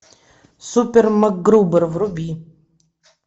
супер макгрубер вруби